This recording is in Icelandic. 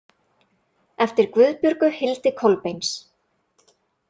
Eftir Guðbjörgu Hildi Kolbeins.